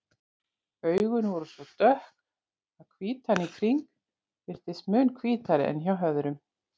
Augun voru svo dökk að hvítan í kring virtist mun hvítari en hjá öðrum.